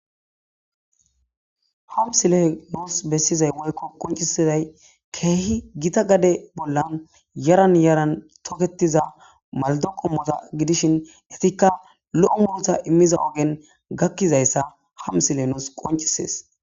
Hamsile noos bessizay woykko qoncisizay keehi gita gade bollan yaran yaran toketiza maldo qommota gidishin etikka lo'o multa immiza ogen gakkizayssa ham sile noos qoncisees